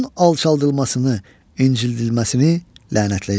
Onun alçaldılmasını, incildilməsini lənətləyir.